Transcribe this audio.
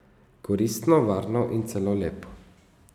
Koristno, varno in celo lepo.